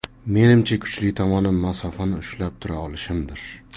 Menimcha, kuchli tomonim masofani ushlab tura olishimdir.